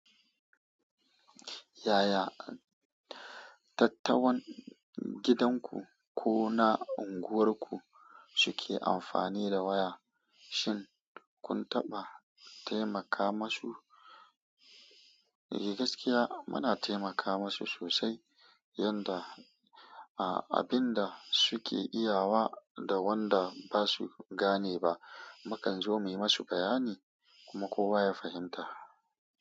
Yaya tatawan gidanku ko na unguwarku suke amfani da waya, shin kun taɓa taimaka masu? Gaskiya muna taimaka masu sosai, yanda abin da suke iya wa da wanda basu gane ba, makan zo muyi masu bayani kuma kowa ya fahimta.